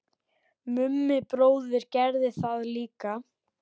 Mummi bróðir gerði það líka.